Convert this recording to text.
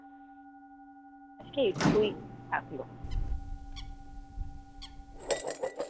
আজকে এইটুকুই থাকল।